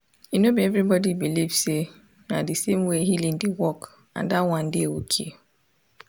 e no be everybody believe say na the same way healing dey work and dat one dey okay.